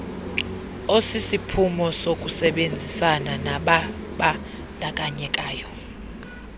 osisiphumo sokusebenzisana nababandakanyekayo